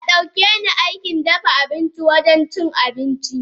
Adaukeni Aikin dafa abincin wurin cin abincin.